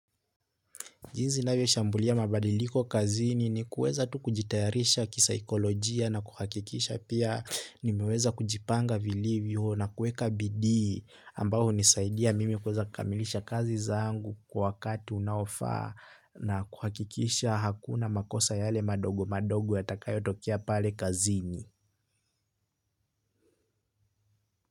Jinsi navyoshambulia mabadiliko kazini ni kuweza tu kujitayarisha kisaikolojia na kuhakikisha pia nimeweza kujipanga vilivyo na kueka bidi ambayo unisaidia mimi kueza kamilisha kazi zangu kwa wakati unaofa na kuhakikisha hakuna makosa yale madogo madogo yatakayo tokea pale kazini.